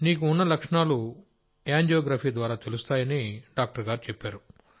నీకు ఉన్న లక్షణాలు యాంజియోగ్రఫీ ద్వారా తెలుస్తాయి అని డాక్టర్ గారుచెప్పారు